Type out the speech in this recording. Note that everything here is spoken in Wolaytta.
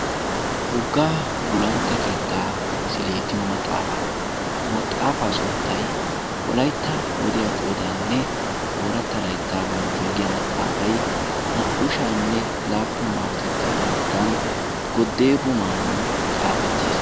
Woggaa gulantta keettaa misileetiyo maxaafaa ha maxaafaa sunttay wolaytta wodiya qoodaanne ooratta laittaa bonchchuwaa giya maxaafai naa"u sha'anne laappun maarotettaa layttan godeebo maammon xaafettiis.